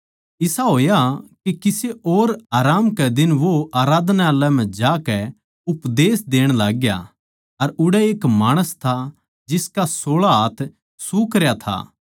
इसा होया के किसे और आराम कै दिन वो आराधनालय म्ह जाकै उपदेश देण लाग्या अर उड़ै एक माणस था जिसका सोळा हाथ सूखरया था